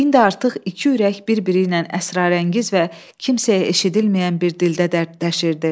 İndi artıq iki ürək bir-biri ilə əsrarəngiz və kimsəyə eşidilməyən bir dildə dərdləşirdi.